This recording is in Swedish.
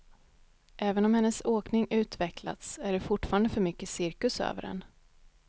Även om hennes åkning utvecklats är det fortfarande för mycket cirkus över den.